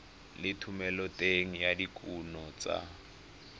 le thomeloteng ya dikuno tsa